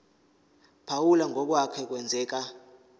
phawula ngokwake kwenzeka